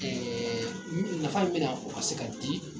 Ɛɛ mi nafa bena kɔmanse ka di